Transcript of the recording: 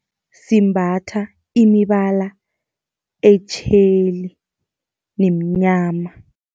Simbatha imibala etjheli nemnyama.